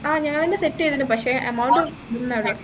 ആഹ് ഞങ്ങളെന്നെ set ചെയ്തു തരും പക്ഷെ amount